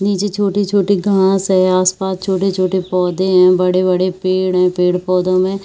नीचे छोटे-छोटे घास है आस-पास छोटे-छोटे पौधे है बड़े-बड़े पेड़ है पेड़ -पौधों में--